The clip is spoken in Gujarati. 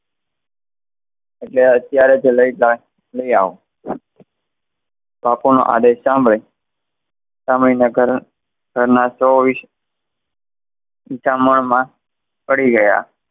એટલે અત્તયારે જ લઇ આવો પાંપણો આડે સાંભળે સમય ના કરને ઘર ના વિચાર માં પડી ગયા